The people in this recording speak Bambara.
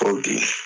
Ko bi